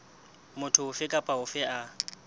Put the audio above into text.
motho ofe kapa ofe a